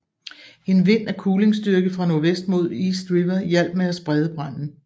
En vind af kulingstyrke fra nordvest mod East River hjalp med at sprede branden